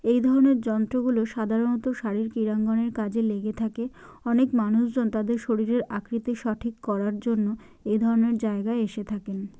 এই ধরনের যন্ত্র গুলো সাধারণত শাড়ির ক্রীড়াঙ্গনের কাজে লেগে থাকে। অনেক মানুষজন তাদের শরীরের আকৃতি সঠিক করার জন্য এ ধরনের জায়গায় এসে থাকেন ।